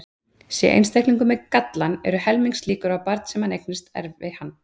Sé einstaklingur með gallann eru helmingslíkur á að barn sem hann eignast erfi hann.